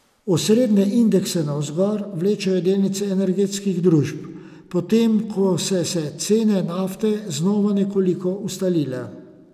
Osrednje indekse navzgor vlečejo delnice energetskih družb, potem ko se se cene nafte znova nekoliko ustalile.